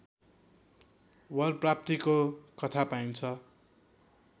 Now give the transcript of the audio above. वर प्राप्तीको कथा पाइन्छ